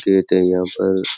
खेत है यहा पर।